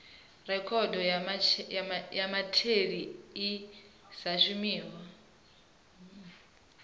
rekhodo ya mutheli i sa shumiho